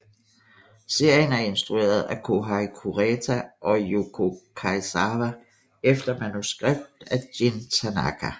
Serien er instrueret af Kohei Kureta og Yukio Kaizawa efter manuskript af Jin Tanaka